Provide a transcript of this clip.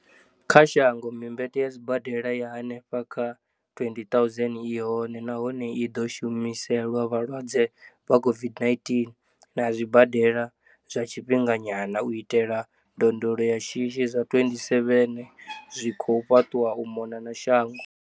kha shango, mimbete ya sibadela ya henefha kha 20 000 i hone, nahone i ḓo shumiselwa vhalwadze vha COVID-19, na zwibadela zwa tshifhinga nyana u itela ndondolo ya shishi zwa 27 zwi khou fhaṱwa u mona na shango.